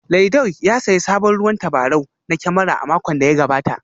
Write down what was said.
Laidoi ya sayi sabon ruwan tabarau na kyamara a makon da ya gabata